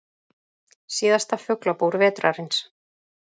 Síðasta Fuglabúr vetrarins